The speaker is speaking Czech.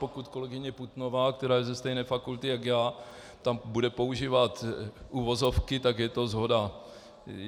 Pokud kolegyně Putnová, která je ze stejné fakulty jak já, tam bude používat uvozovky, tak je to shoda.